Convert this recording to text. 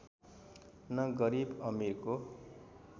न गरिब अमिरको